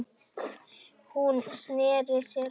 Hún sneri sér við.